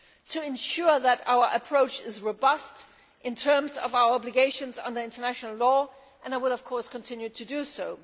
to ensure that our approach is robust in terms of our obligations under international law, and I will continue to do so.